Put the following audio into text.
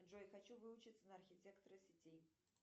джой хочу выучиться на архитектора сетей